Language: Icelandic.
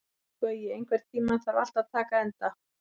Gaui, einhvern tímann þarf allt að taka enda.